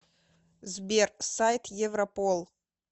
сбер сайт европол